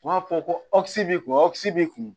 U b'a fɔ ko b'i kun b'i kun